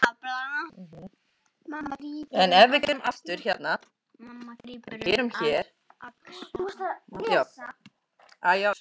Mamma grípur um axlir hans.